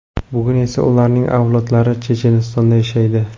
Bugun esa ularning avlodlari Chechenistonda yashaydi.